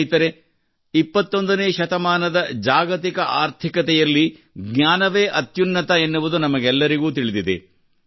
ಸ್ನೇಹಿತರೇ 21 ನೇ ಶತಮಾನದ ಜಾಗತಿಕ ಆರ್ಥಿಕತೆಯಲ್ಲಿ ಜ್ಞಾನವೇ ಅತ್ಯುನ್ನತ ಎನ್ನುವುದು ನಮಗೆಲ್ಲರಿಗೂ ತಿಳಿದಿದೆ